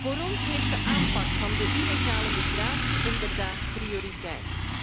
Voor ons heeft de aanpak van de illegale migratie inderdaad prioriteit.